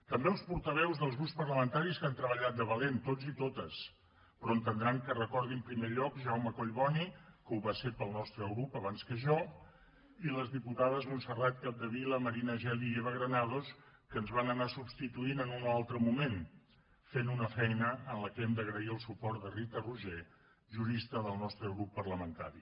també els portaveus dels grups parlamentaris que han treballat de valent tots i totes però entendran que recordi en primer lloc jaume collboni que ho va ser pel nostre grup abans que jo i les diputades montserrat capdevila marina geli i eva granados que ens van anar substituint en un o altre moment fent una feina en la qual hem d’agrair el suport de rita roigé jurista del nostre grup parlamentari